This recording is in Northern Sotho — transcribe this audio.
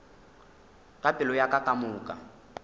ka pelo ya ka kamoka